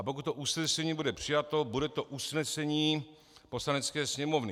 A pokud to usnesení bude přijato, bude to usnesení Poslanecké sněmovny.